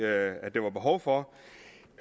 at der var behov for